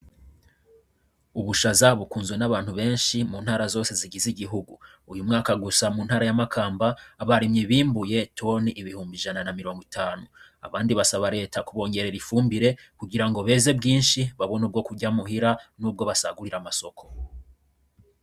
Ubusha za bukunzwe n'abantu benshi mu ntara zose zigize igihugu uyu mwaka gusha mu ntara y'amakamba abaremye bimbuye toni ibihumba ijana na mirongo itanu abandi basaba leta kubongerera ifumbire kugira ngo beze bwinshi babona ubwo kurya muhira n'ubwo basagurira amasoko.